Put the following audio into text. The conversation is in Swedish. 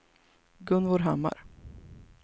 Gunvor Hammar